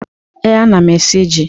Ee, m na-esi ji.